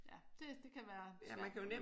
Ja det det kan være besværligt